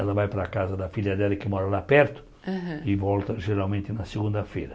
Ela vai para a casa da filha dela que mora lá perto Aham E volta geralmente na segunda-feira.